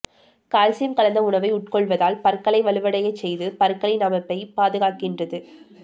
calcium கலந்த உணவை உட்கொள்வதால் பற்களை வலுவடையச் செய்து பற்களின் அமைப்பை பாதுகாக்கின்றது